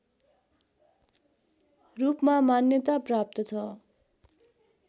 रूपमा मान्यता प्राप्त छ